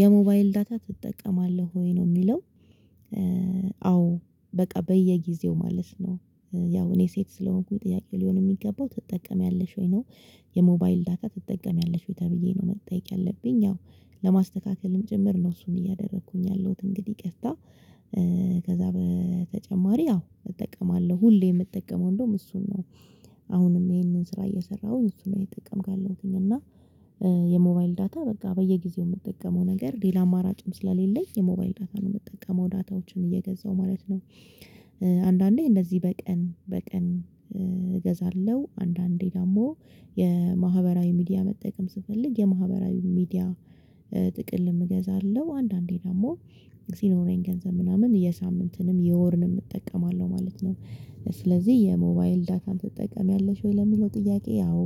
የሞባይል ዳታ ትጠቀማለህ ወይ ነው የሚለው? አዎ በቃ በየጊዜው ማለት ነው ያው እኔ ሴት ስለሆንኩኝ ጥያቄ ሊሆን የሚገባው ትጠቀሚያለሽ ወይ ነው? የሞባይል ዳታ ትጠቀሚያለሽ ወይ ተብዬ ነው መጠየቅ ያለብኝ ያው ለማስተካከልም ጭምር ነው እሱን እያደረኩኝ ያለሁት እንግዲህ ቀፍታ። በተጨማሪ አዎ እጠቀማለሁ ሁሌ የምጠቀመው እንደውም እሱን ነው። አሁንም ይሄንን ስራ እየሰራሁኝ እሱን ነው እየተጠቀምኩኝ ያለሁትኝ እና። የሞባይል ዳታ በቃ በየጊዜው የምጠቀመው ነገር ሌላ አማራጭም ስለሌለኝ የሞባይል ዳታ ነው የምትጠቀመው ዳታዎችን እየገዛሁ ማለት ነው። አንዳንዴ እንደዚህ በቀን በቀን እገዛለሁ አንዳንዴ ደግሞ የማህበራዊ ሚዲያ መጠቀም ስፈልግ የማህበራዊ ሚዲያ ጥቅል እገዛለሁ አንዳንዴ ደግሞ ሲኖረኝ ገንዘብ ምናምን የሳምንትንም የወርንም እጠቀማለሁ ማለት ነው። ስለዚህ የሞባይል ዳታን ትጠቀምያለሽ ወይ ለሚለው ጥያቄ አወ።